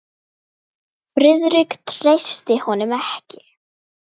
Friðrik treysti honum ekki.